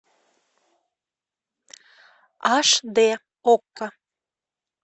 аш д окко